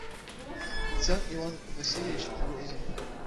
царь иван васильевич грозный